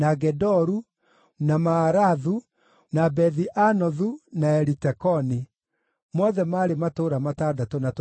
na Maarathu, na Bethi-Anothu, na Elitekoni; mothe maarĩ matũũra matandatũ na tũtũũra twamo.